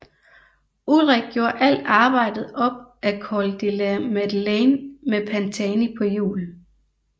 Ullrich gjorde alt arbejdet op ad Col de la Madeleine med Pantani på hjul